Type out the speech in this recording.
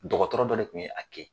Dɔgɔtɔrɔ dɔ de kun ye a kɛ.